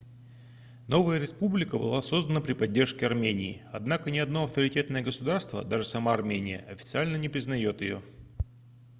новая республика была создана при поддержке армении однако ни одно авторитетное государство даже сама армения официально не признаёт её